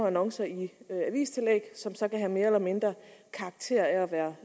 annoncer i avistillæg som så kan have mere eller mindre karakter af at være